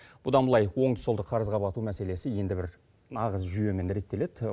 бұдан былай оңды солды қарызға бату мәселесі енді бір назы жүйемен реттеледі